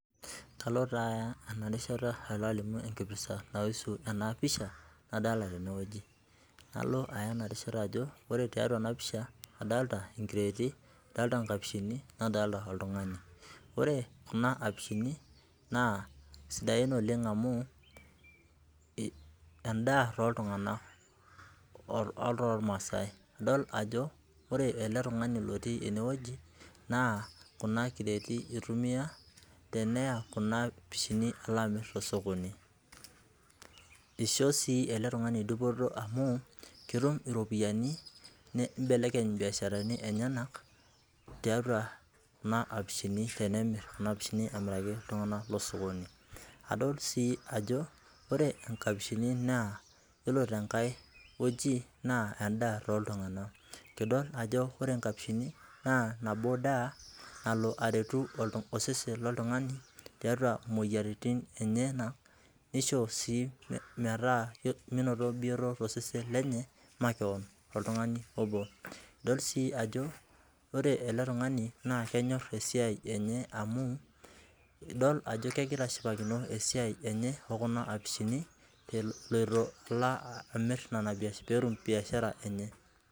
Kalo taa aya ena rishata alimu enkipirta naipirta ena pisha nadolita teneweji. nalo aya enarishata ajo ore tiatua ena pisha adolita inkireeti oo nkapishini nadolita oltungani. ore Kuna kapishini naa siadain oleng amu endaa toltunganak otormasai idol ajo ore ele tungani otii eneweji naa kuna kireeti eitumiyia teneya Kuna apishini alo amir tesokoni ,eishop sii ele tungani dupoto amu ketum iropianin neibelekeny ibiasharani enyenak tiatua Kuna apishini tenemir kuna apishini amiraki iltunganak tosokoni .adol sii ajo yiolo nkapishi ore tenkae weji naa endaa toltunganak ,idol ajo ore nkapishini naaa nabo daa nalo ateru osesen loltunganai tiatua moyiaritin enyenak nishomo sii menoto bioto tosesen lenye makeon toltungani obo. idol sii ajo ore ele tungani naa kenyor esiai enye amu idol ajo kegira ashipakino esiai enye okuna apishini eloito emir pee etum biashara enye .